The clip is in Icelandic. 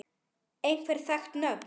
Einhver þekkt nöfn?